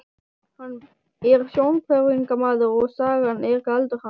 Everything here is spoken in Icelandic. Hann er sjónhverfingamaður og sagan er galdur hans.